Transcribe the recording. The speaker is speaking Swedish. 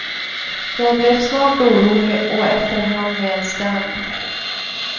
Jag blev snart orolig och efterhand nedstämd.